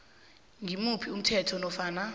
ngimuphi umthetho nofana